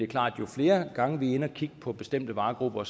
klart at jo flere gange vi er inde at kigge på bestemte varegrupper